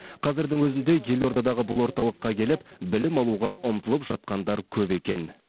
қазірдің өзінде елордадағы бұл орталыққа келіп білім алуға ұмтылып жатқандар көп екен